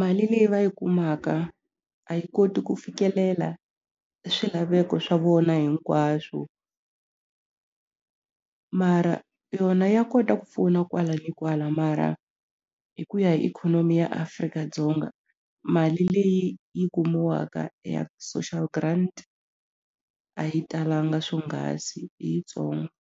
mali leyi va yi kumaka a yi koti ku fikelela swilaveko swa vona hinkwaswo mara yona ya kota ku pfuna kwala ni kwala mara hi ku ya hi ikhonomi ya Afrika-Dzonga mali leyi yi kumiwaka ya social grant a yi talanga swonghasi i yitsongo.